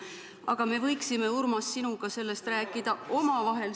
Aga me võiksime, Urmas, sinuga sellest omavahel rääkida.